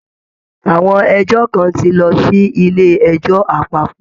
Àwọn ẹjọ́ kan ti lọ sí ilé ẹjọ́ àpapọ̀